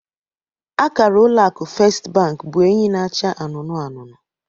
Akara ụlọ akụ Fest bank bụ enyi na-acha anụnụ anụnụ